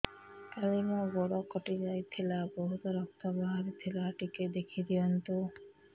କାଲି ମୋ ଗୋଡ଼ କଟି ଯାଇଥିଲା ବହୁତ ରକ୍ତ ବାହାରି ଥିଲା ଟିକେ ଦେଖି ଦିଅନ୍ତୁ